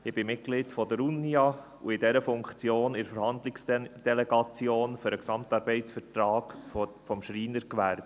Ich bin Mitglied der Unia und in dieser Funktion in der Verhandlungsdelegation für den GAV des Schreinergewerbes.